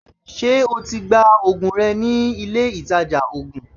Ṣé o ti gba ògùn rẹ nílé ìtajà ògùn?